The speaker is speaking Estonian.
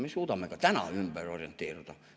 Me suudame ka täna ümber orienteeruda.